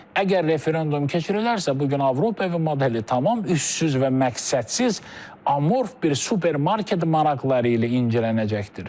Əgər referendum keçirilərsə, bu gün Avropa modeli tamam üssüz və məqsədsiz, amorf bir supermarket maraqları ilə incilənəcəkdir.